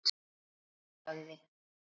Hún sagði.